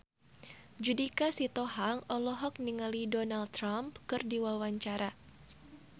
Judika Sitohang olohok ningali Donald Trump keur diwawancara